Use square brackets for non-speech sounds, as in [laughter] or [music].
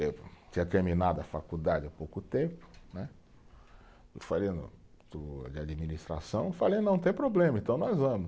Eu tinha terminado a faculdade há pouco tempo né, [unintelligible] de administração, falei, não tem problema, então nós vamos.